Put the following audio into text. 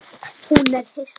Hún er hissa.